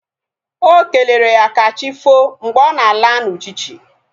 Okelere ya kachifo mgbe ọ na-ala na uchichi